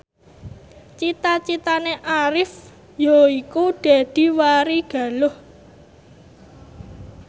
cita citane Arif yaiku dadi warigaluh